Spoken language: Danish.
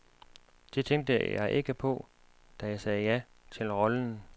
Det tænkte jeg ikke på, da jeg sagde ja til rollen.